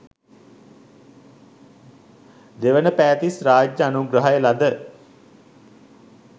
දෙවනපෑතිස් රාජ්‍ය අනුග්‍රහය ලද